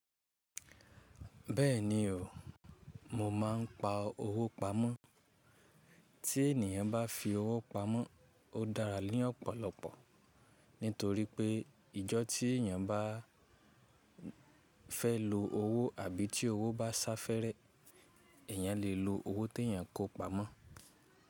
Bẹ́ẹ̀ni o, mo máa ń pa owó pamọ́. Tí ènìyàn bá fi owó pamọ́, ó dára ní ọ̀pọ̀lọpọ̀. Nítorí pé, ìjọ tí èyàn bá fẹ́ lo owó àbí tí owó bá sáfẹ́rẹ̀, èyàn lè lo owó tèyàn kó pamọ́.